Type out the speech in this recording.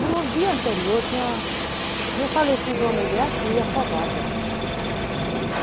No dia anterior tinha, tinha falecido uma mulher aqui, afogada.